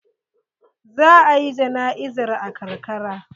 Za a yi jana'izar a karkara.